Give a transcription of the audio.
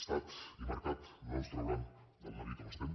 estat i mercat no ens trauran del neguit on estem